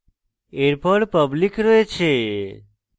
এরপর public রয়েছে